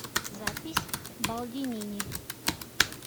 запись балдинини